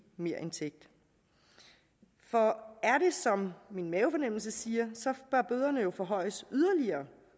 merindtægt for er det som min mavefornemmelse siger bør bøderne jo forhøjes yderligere